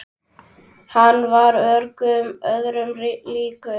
Hann var engum öðrum líkur.